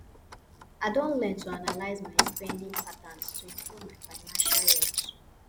i don learn to analyze my spending patterns to improve my financial health